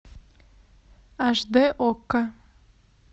аш д окко